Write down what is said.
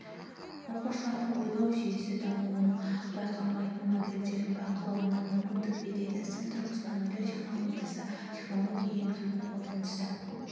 оқушылардың ойлау жүйесі дамуының байқалмайтын моделдерін бақылауына мүмкіндік береді сын тұрғысынан ойлау технологиясы технология енгізу қорытындысы